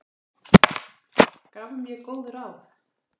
Gaf mér góð ráð.